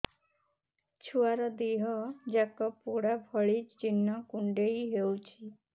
ଛୁଆର ଦିହ ଯାକ ପୋଡା ଭଳି ଚି଼ହ୍ନ କୁଣ୍ଡେଇ ହଉଛି